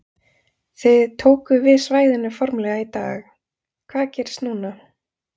Þið tókuð við svæðinu formlega í dag, hvað gerist núna?